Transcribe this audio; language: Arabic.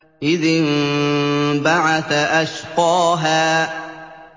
إِذِ انبَعَثَ أَشْقَاهَا